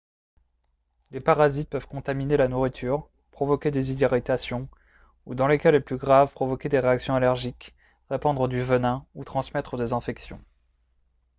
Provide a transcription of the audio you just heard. les parasites peuvent contaminer la nourriture provoquer des irritations ou dans les cas les plus graves provoquer des réactions allergiques répandre du venin ou transmettre des infections